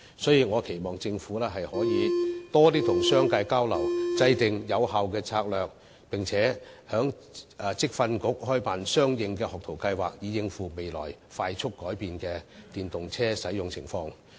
所以，我期望政府可以多與商界交流，制訂有效策略，並在職業訓練局開辦相應學徒計劃，以應付未來快速改變的電動車使用情況。